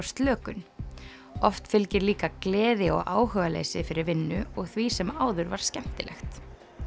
slökun oft fylgir líka gleði og áhugaleysi fyrir vinnu og því sem áður var skemmtilegt